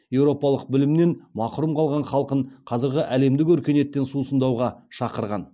еуропалық білімнен мақұрым қалған халқын қазіргі әлемдік өркениеттен сусындауға шақырған